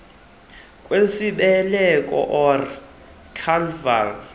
kwesibeleko or cervical